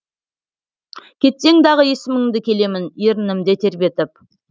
кетсең дағы есіміңді келемін ерінімде тербетіп